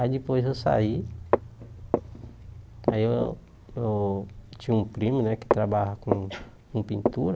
Aí depois eu saí, aí eu eu tinha um primo, né, que trabalha com com pintura,